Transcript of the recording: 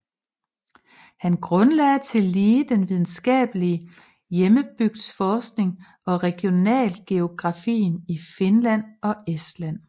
Han grundlagde tillige den videnskabelige hjembygdsforskning og regionalgeografien i Finland og Estland